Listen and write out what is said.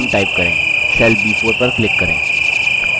cell b4 पर click करें